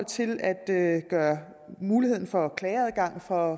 til at at gøre muligheden for klageadgang for